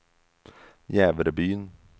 Jävrebyn